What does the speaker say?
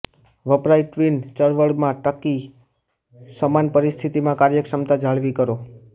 વપરાય ટ્વીન ચળવળમાં ટકી સમાન પરિસ્થિતિમાં કાર્યક્ષમતા જાળવી કરો